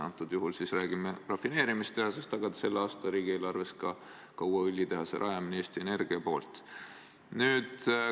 Antud juhul siis räägime rafineerimistehasest, aga selle aasta riigieelarves on ka Eesti Energia uue õlitehase rajamine.